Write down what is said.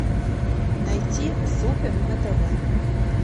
найти супер на тв